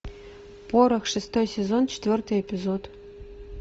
порох шестой сезон четвертый эпизод